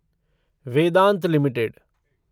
Vedanta limited